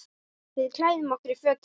Við klæðum okkur í fötin.